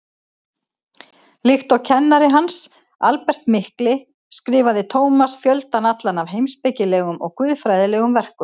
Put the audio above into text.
Líkt og kennari hans, Albert mikli, skrifaði Tómas fjöldann allan af heimspekilegum og guðfræðilegum verkum.